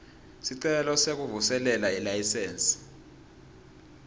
sicelo sekuvuselela ilayisensi